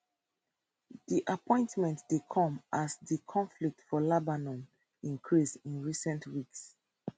di appointment dey come as di conflict for lebanon increase in recent weeks